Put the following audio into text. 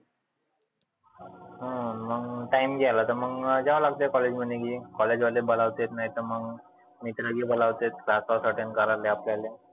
हा मग time गेला तर मग जावा लागते college मध्ये ही. college वाले बलावते नाही तर मग मित्र बी बलावते class साठी कारण आपल्याले.